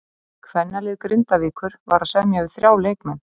Kvennalið Grindavíkur var að semja við þrjá leikmenn.